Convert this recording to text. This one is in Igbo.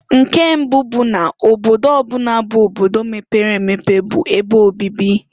Nke mbụụ bụ n' obodo ọ bụna bụ obodo mepere emepe bụ ebe obibi.